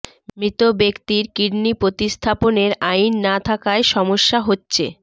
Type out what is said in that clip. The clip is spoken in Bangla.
মৃত ব্যক্তির কিডনি প্রতিস্থাপনের আইন না থাকায় সমস্যা হচ্ছে